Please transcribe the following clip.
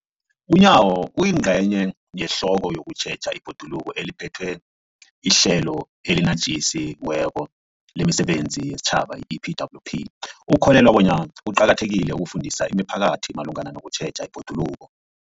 UNyawo, oyingcenye yehlelo lokutjheja ibhoduluko eliphethwe liHlelo eliNatjisi weko lemiSebenzi yesiTjhaba, i-EPWP, ukholelwa bona kuqakathekile ukufundisa imiphakathi malungana nokutjheja ibhoduluko.